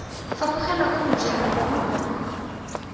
fapogela kwa mojeng gongwe kwa